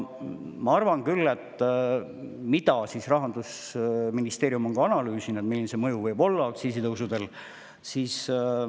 Ma arvan küll, et Rahandusministeerium on analüüsinud, milline mõju võib olla aktsiisitõusudel.